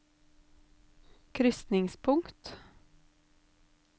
krysningspunkt